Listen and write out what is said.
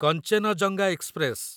Kanchenjunga express